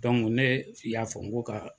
ne y'a fɔ n ko ka.